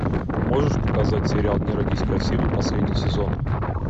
можешь показать сериал не родись красивой последний сезон